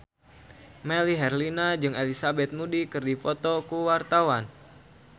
Melly Herlina jeung Elizabeth Moody keur dipoto ku wartawan